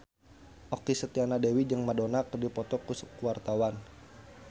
Okky Setiana Dewi jeung Madonna keur dipoto ku wartawan